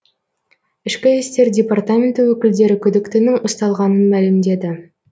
ішкі істер департаменті өкілдері күдіктінің ұсталғанын мәлімдеді